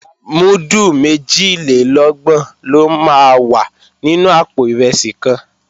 Múdù méjìlélọ́gbọ̀n ló máa wà nínú àpò ìrẹsì kan